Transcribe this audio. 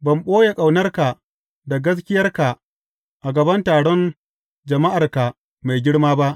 Ban ɓoye ƙaunarka da gaskiyarka a gaban taron jama’arka mai girma ba.